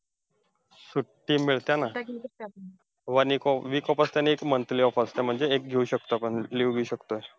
सुट्टी मिळते ना! one एक week off असते आणि एक monthly off असते. म्हणजे एक घेऊ शकतो आपण leave घेऊ शकतो.